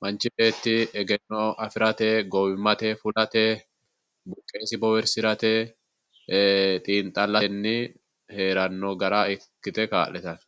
manchi beetti egenno afirate gowimate fulate buqesi bowirisirate, xiinxallote haarano gara ikkite kaa'littano.